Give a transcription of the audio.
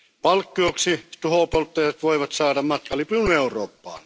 Palkkioksi tuhopolttajat voivat saada matkalipun Eurooppaan.